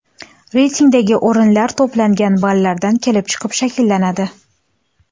Reytingdagi o‘rinlar to‘plangan ballardan kelib chiqib shakllanadi.